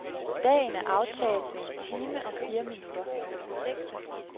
Dagen er aftaget med en time og fire minutter.